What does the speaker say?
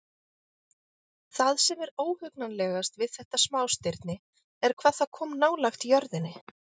Það sem er óhugnanlegast við þetta smástirni er hvað það kom nálægt jörðinni.